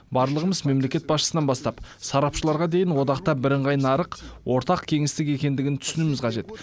барлығымыз мемлекет басшысынан бастап сарапшыларға дейін одақта бірыңғай нарық ортақ кеңістік екендігін түсінуіміз қажет